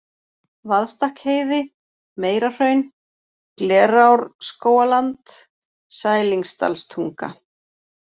Vaðstakkheiði, Meira-Hraun, Glerárskógaland, Sælingsdalstunga